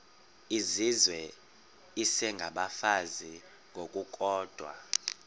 izizwe isengabafazi ngokukodwa